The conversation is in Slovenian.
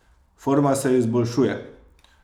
Forma se izboljšuje.